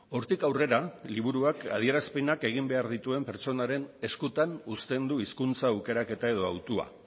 hortik aurrera liburuak adierazpenak egin behar dituen pertsonaren eskutan uzten du hizkuntza aukeraketa edo hautua